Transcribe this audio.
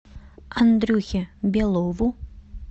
андрюхе белову